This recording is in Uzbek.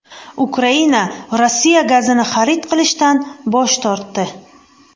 Ukraina Rossiya gazini xarid qilishdan bosh tortdi.